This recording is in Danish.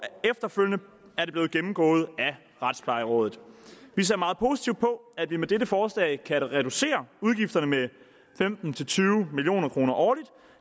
efterfølgende er det blevet gennemgået af retsplejerådet vi ser meget positivt på at vi med dette forslag kan reducere udgifterne med femten til tyve million kroner årligt